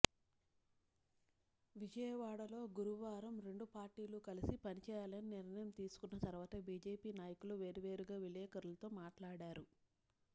విజయవాడలో గురువారం రెండు పార్టీలు కలిసి పనిచేయాలని నిర్ణయం తీసుకున్న తరువాత బీజేపీ నాయకులు వేర్వేరుగా విలేఖరులతో మాట్లాడారు